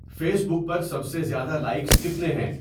face بک پر سب سے زیادہ لائکس کتنے ہیں